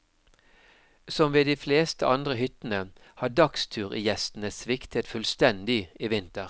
Som ved de fleste andre hyttene har dagsturgjestene sviktet fullstendig i vinter.